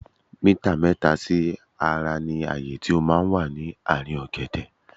Mítà mẹ́ta sí ara ní ààyé tó máa ń wà ní ààrín ọ̀gẹ̀dẹ̀.